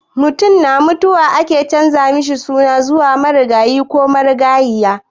Mutum na mutuwa ake canza sunan shi zuwa marigayi ko marigayiya.